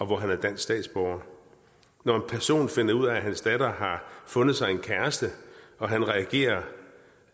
hvor han er dansk statsborger når en person finder ud af at hans datter har fundet sig en kæreste og han reagerer